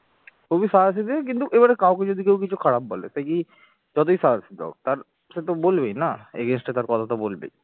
খুবই সাদা সেজে কিন্তু এবারে কাউকে যদি কেউ কিছু খারাপ বলে তা কি যতই সাদাসিদে হোক তার সে তো বলবেই না against তার কথা তো বলবেই